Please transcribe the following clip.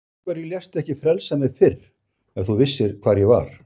Af hverju léstu ekki frelsa mig fyrr ef þú vissir hvar ég var.